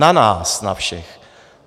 Na nás na všech.